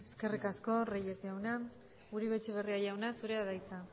eskerrik asko reyes jauna uribe etxebarria jauna zurea da hitza